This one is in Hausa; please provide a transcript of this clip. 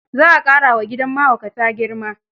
Za a qmƙarawa gidan mahaukata girma.